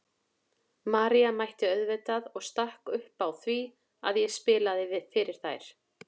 María mætti auðvitað og stakk upp á því að ég spilaði fyrir þær.